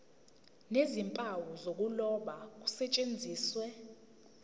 nezimpawu zokuloba kusetshenziswe